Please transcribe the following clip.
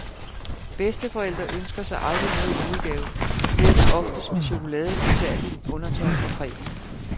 Bedsteforældre ønsker sig aldrig noget i julegave, så det ender oftest med chokolade, dessertvin, undertøj og cremer.